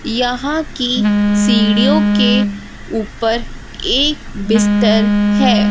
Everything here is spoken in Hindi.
यहां की सीड़ीओ के ऊपर एक बिस्तर है।